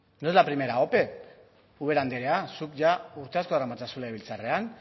no es la primera ope ubera andrea zuk ia urte asko daramatzazu legebiltzarrean